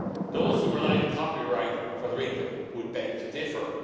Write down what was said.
Those who rely on copyright for their income would beg to differ.